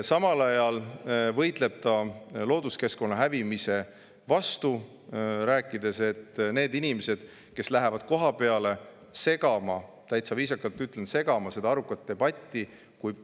Samal ajal võitleb ta looduskeskkonna hävimise vastu, rääkides, et need inimesed, kes lähevad arukat debatti segama – täitsa viisakalt ütlen: segama –,.